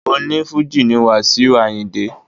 Oní Fújì ni Wasiu Ayinde.